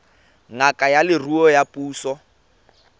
ngaka ya leruo ya puso